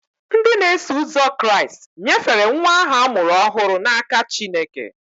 Ndị na-eso ụzọ Kraịst nyefere nwa ahụ a mụrụ ọhụrụ n'aka Chineke.